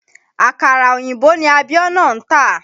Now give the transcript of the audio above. Àkàrà òyìnbó ni Abíọ́nà n tà